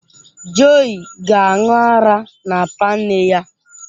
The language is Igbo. Joii ga-aṅụ ara n’apa nne ya.